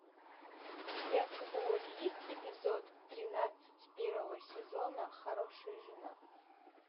у тебя в каталоге есть эпизод тринадцать первого сезона хорошая жена